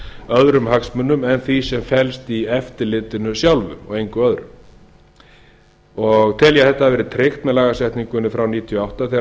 öðrum hagsmunum en því sem felst í eftirlitinu sjálfu og engu öðru og tel ég að þetta hafi verið tryggt með lagasetningunni frá nítján hundruð níutíu og átta þegar